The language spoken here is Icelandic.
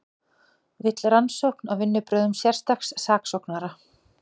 Vill rannsókn á vinnubrögðum sérstaks saksóknara